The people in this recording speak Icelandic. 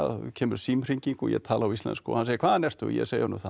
kemur símhringing og ég tala á íslensku og hann segir hvaðan ertu ég segi honum það og